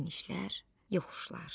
Enişlər, yoxuşlar.